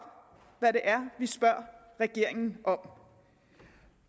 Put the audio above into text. hvad det er vi spørger regeringen om